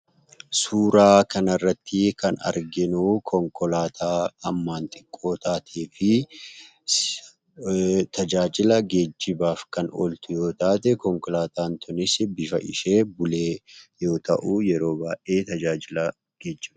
Suuraa kana irratti kan arginuu, konkolaataa hammaan xiqqoo taatee fi tajaajila geejibaaf kan ooltu yoo taate, konkolaataan kunis bifa ishee bulee yoo ta'u yeroo baayyee tajaajila geejibaaf gargaara.